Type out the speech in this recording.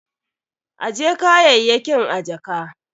Ajje kayayyakin a jaka.